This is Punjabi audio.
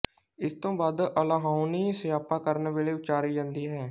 ਇਸ ਤੋੱ ਵੱਧ ਅਲਾਹੁਣੀ ਸਿਆਪਾ ਕਰਨ ਵੇਲੇ ਉੱਚਾਰੀ ਜਾਂਦੀ ਹੈ